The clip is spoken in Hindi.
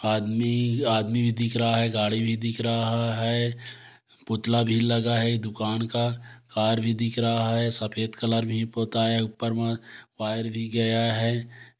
आदमी आदमी भी दिख रहा है गाड़ी भी दिख रहा है पुतला भी लगा है दुकान का कार भी दिख रहा है सफेद कलर भी होता है ऊपर मे वायर भी गया है।